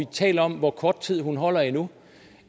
tales om hvor kort tid hun holder endnu